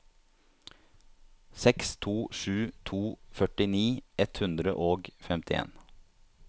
seks to sju to førtini ett hundre og femtien